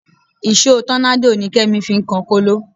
Ìṣó tọ́nádò ni Kẹ́mi fi ń kan kóló